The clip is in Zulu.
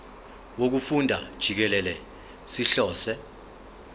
wokufunda jikelele sihlose